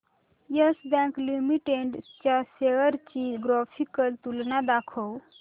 yes bank limited च्या shares ची graphical तुलना दाखव